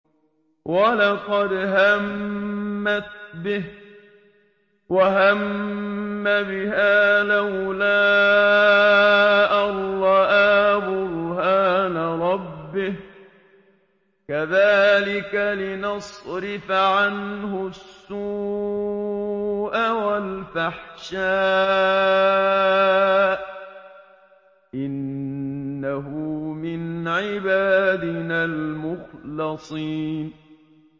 وَلَقَدْ هَمَّتْ بِهِ ۖ وَهَمَّ بِهَا لَوْلَا أَن رَّأَىٰ بُرْهَانَ رَبِّهِ ۚ كَذَٰلِكَ لِنَصْرِفَ عَنْهُ السُّوءَ وَالْفَحْشَاءَ ۚ إِنَّهُ مِنْ عِبَادِنَا الْمُخْلَصِينَ